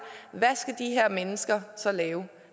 hvad skal de her mennesker så lave